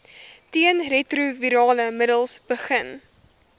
teenretrovirale middels begin